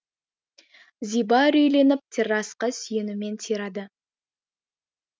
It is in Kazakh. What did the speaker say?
зиба үрейленіп террасқа сүйенумен тирады